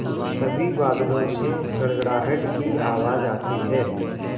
तभी बादलों से गड़गड़ाहट की आवाज़ आती है